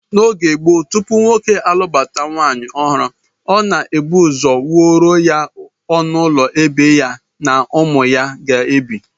N'oge gboo, tupu nwoke alụbata nwaanyị ọhụrụ, ọ na-ebu ụzọ wuoro ya ọnụụlọ ebe ya na ụmụ ya ga-ebi